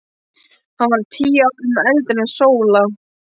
Hann var tíu árum eldri en Sóla.